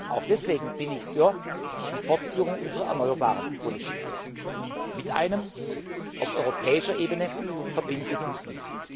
Auch deswegen bin ich für die Fortführung unserer Politik der erneuerbaren Energien mit einem auf europäischer Ebene verbindlichen Ziel.